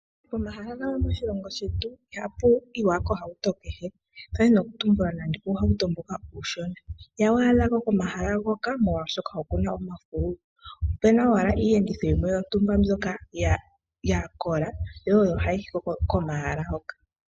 Pomahala gamwe moshilongo shetu, ihapu yiwa kohauto kehe, ndadhina okutumbula nande uuhauto mboka uushona ihawu adhako komahala hoka molwaashoka okuna omafululu. Oopuna owala iiyenditho yimwe yontumba mbyoka ya kola, yo oyo hayi yiko komahala hoka.